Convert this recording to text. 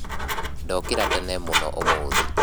Ndokĩra tene mũno ũmũthĩ